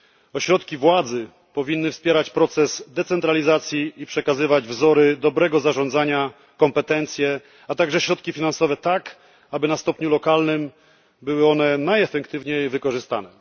Ośrodki władzy powinny wspierać proces decentralizacji i przekazywać wzory dobrego zarządzania, kompetencje, a także środki finansowe tak, aby na stopniu lokalnym były one najefektywniej wykorzystane.